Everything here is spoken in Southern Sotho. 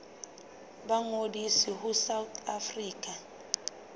ba ngodise ho south african